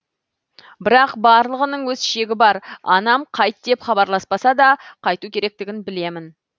бірақ барлығының өз шегі бар анам қайт деп хабарласпаса да қайту керектігін білемін